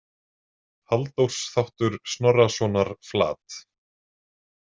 Halldórs þáttur Snorrasonar Flat.